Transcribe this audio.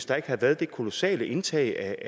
der havde været det kolossale indtag